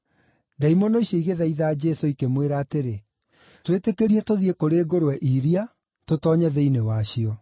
Ndaimono icio igĩthaitha Jesũ, ikĩmwĩra atĩrĩ, “Twĩtĩkĩrie tũthiĩ kũrĩ ngũrwe iria, tũtoonye thĩinĩ wacio.”